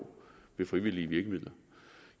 ved frivillige virkemidler